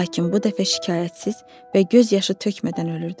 Lakin bu dəfə şikayətsiz və göz yaşı tökmədən ölürdülər.